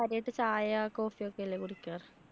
കാര്യായിട്ട് ചായ, coffee ഒക്കെ അല്ലേ കുടിക്കാറ്.